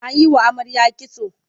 An yi wa amarya kitso.